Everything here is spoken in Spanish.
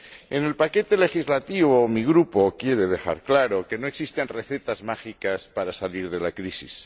En el paquete legislativo, mi Grupo quiere dejar claro que no existen recetas mágicas para salir de la crisis.